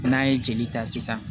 N'an ye jeli ta sisan